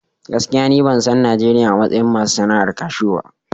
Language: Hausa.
Gaskiya ni ban san Najeriya a matsayin masu sana'ar cashew ba.